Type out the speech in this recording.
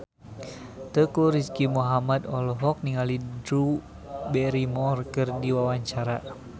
Teuku Rizky Muhammad olohok ningali Drew Barrymore keur diwawancara